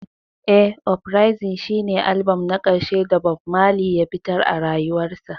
Eh, uprising shine albam na ƙarshe da Bob Marley ya fitar a rayuwarsa.